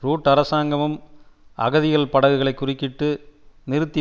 root அரசாங்கமும் அகதிகள் படகுகளை குறுக்கிட்டு நிறுத்தி